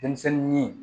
Denmisɛnnin